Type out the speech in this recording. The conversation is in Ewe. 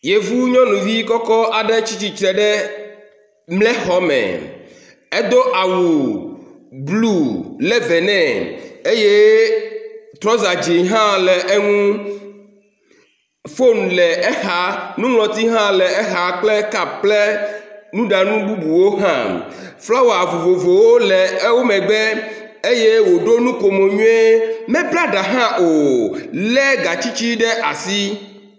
yevu nyɔnuvi kɔkɔ́ aɖe tsítsitre ɖe mle xɔme edó awu blu levenɛ eye trɔza dzĩ hã le eŋu fon le exa nuŋlɔti hã le exa kple kap kple nuɖanu bubuwo hã frawa vovovowo le ewomegbe eye wòɖo nukomo nyuie medóadã hã o le gatsitsí ɖe asi